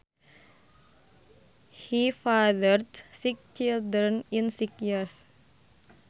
He fathered six children in six years